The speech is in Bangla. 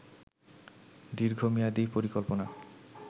দীর্ঘমেয়াদি পরিকল্পনা